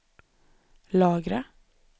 lagra